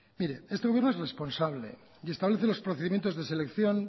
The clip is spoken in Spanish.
mire este gobierno es responsable y establece los procedimientos de selección